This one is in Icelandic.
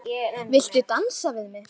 Viltu dansa við mig?